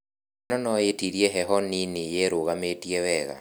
Ngano nũĩtirie heho nini yerũgamia wega.